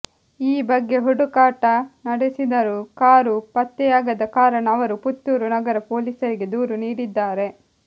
ಈ ಬಗ್ಗೆ ಹುಡುಕಾಟ ನಡೆಸಿದರೂ ಕಾರು ಪತ್ತೆಯಾಗದ ಕಾರಣ ಅವರು ಪುತ್ತೂರು ನಗರ ಪೊಲೀಸರಿಗೆ ದೂರು ನೀಡಿದ್ದಾರೆ